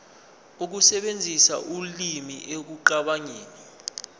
ukusebenzisa ulimi ekucabangeni